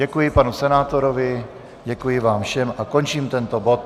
Děkuji panu senátorovi, děkuji vám všem a končím tento bod.